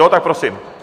Jo, tak prosím.